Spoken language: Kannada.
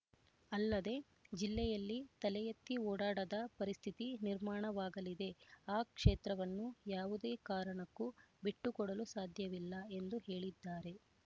ಅಲ್ಲದೆ ಜಿಲ್ಲೆಯಲ್ಲಿ ತಲೆಎತ್ತಿ ಓಡಾಡದ ಪರಿಸ್ಥಿತಿ ನಿರ್ಮಾಣವಾಗಲಿದೆ ಆ ಕ್ಷೇತ್ರವನ್ನು ಯಾವುದೇ ಕಾರಣಕ್ಕೂ ಬಿಟ್ಟುಕೊಡಲು ಸಾಧ್ಯವಿಲ್ಲ ಎಂದು ಹೇಳಿದ್ದಾರೆ